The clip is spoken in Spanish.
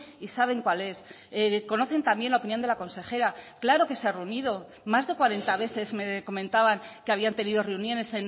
y saben cuál es conocen también la opinión de la consejera claro que se ha reunido más de cuarenta veces me comentaban que habían tenido reuniones